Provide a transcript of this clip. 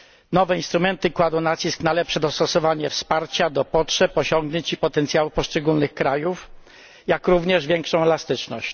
Nowe instrumenty kładą nacisk na lepsze dostosowanie wsparcia do potrzeb, osiągnięć i potencjału poszczególnych krajów, jak również większą elastyczność.